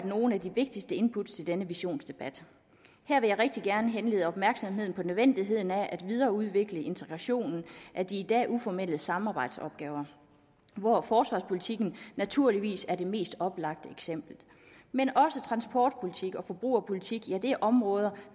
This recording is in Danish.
nogle af de vigtigste input i denne visionsdebat her vil jeg rigtig gerne henlede opmærksomheden på nødvendigheden af at videreudvikle integrationen af de i dag uformelle samarbejdsopgaver hvoraf forsvarspolitikken naturligvis er det mest oplagte eksempel men også transportpolitik og forbrugerpolitik er områder